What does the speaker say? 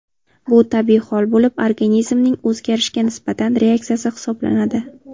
Bu tabiiy hol bo‘lib, organizmning o‘zgarishga nisbatan reaksiyasi hisoblanadi.